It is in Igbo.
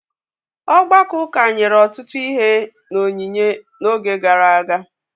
Ọgbakọ ụka nyere ọtụtụ ihe n’onyinye n’oge gara aga.